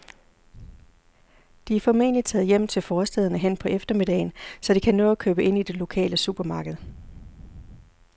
De er formentlig taget hjem til forstæderne hen på eftermiddagen, så de kan nå at købe ind i det lokale supermarked.